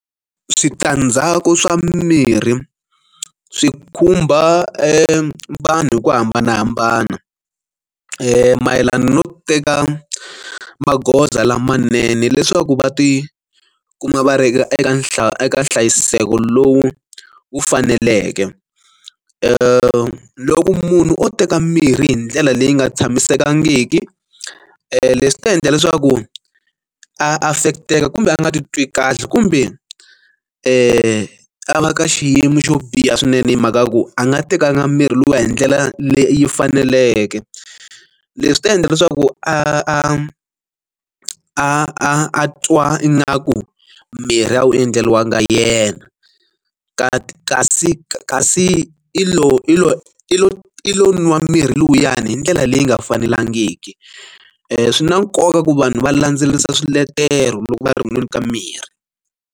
Switandzhaku swa mimirhi swi khumba vanhu vo hambanahambana mayelana no teka magoza lamanene leswaku va ti kuma va ri eka nhlayo eka nhlayiseko lowu wu faneleke loko munhu o teka mirhi hi ndlela leyi nga tshamisekangiki leswi ta endla leswaku a affect-eka kumbe a nga ti twi kahle kumbe i a va ka xiyimo xo biha swinene hi mhaka ya ku a nga tekanga mirhi liya hi ndlela leyi faneleke leswi ta endla leswaku a a twa ingaku mirhi a wu endleriwangi yena kasi kasi kasi i lowu i lo i lo i lo nwa mirhi luyani hi ndlela leyi nga fanelangiki swi na nkoka ku vanhu va landzelerisa swiletelo loko va ri kunweni ka mirhi.